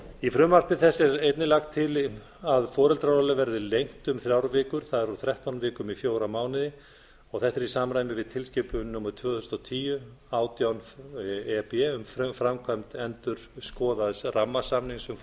í frumvarpi þessu er einnig lagt til að foreldraorlof verði lengt um þrjár vikur það er úr þrettán vikum í fjóra mánuði þetta er í samræmi við tilskipun númer tvö þúsund og tíu átján e b um framkvæmd endurskoðaðs rammasamnings